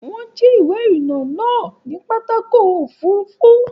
Wọ́n jí ìwé ìrìnnà náà ní pápákọ̀ òfurufú.